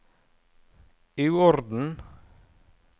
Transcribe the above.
uorden